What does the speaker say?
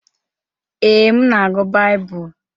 Ee, m na-agụ Baịbụl.